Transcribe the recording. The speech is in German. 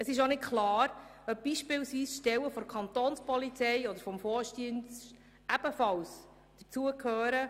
Es ist auch nicht klar, ob beispielsweise Stellen der Kantonspolizei oder des Forstdienstes dazugehören.